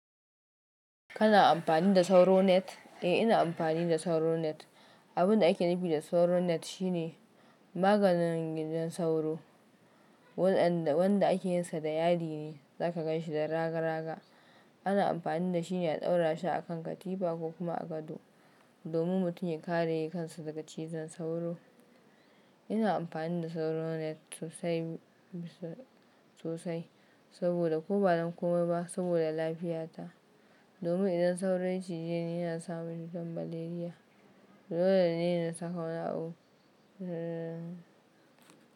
Kana amfani da sauro net? Eh, ina amfani da sauro net. Abin da ake nufi da sauro net shine maganin gidan sauro, wanda ake yinsa da yadi ne, za ka gan shi da raga raga. Ana amfani da shi ne a ɗaura shi a kan katifa ko kuma a gado, domin mutum ya kare kansa daga cizon sauro. Ina amfani da sauro net sosai sosai saboda ko ba don kuma ba saboda lafiyata. Domin idan sauro ya cije ni, yana sa mutum malaria. Dole ne na saka wani abu.